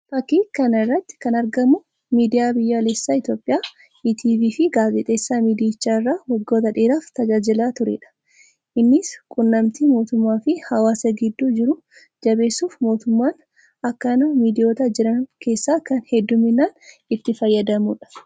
Fakkii kana irratti kan argamuu miidiyaa biyyooleessaa Itoophiyaa ETV fi gaazexeessaa miidiyicha irraa waggoota dheeraaf tajaajilaa tureedha. Innis quunnamtii mootummaa fi hawwaasaa gidduu jiru jabeessuuf mootummaan akkaan miidiyoota jiran keessaa kan hedduminaan itti fayyadamuudha.